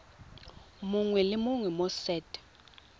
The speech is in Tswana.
mongwe le mongwe mo set